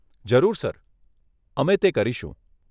જરૂર સર, અમે તે કરીશું.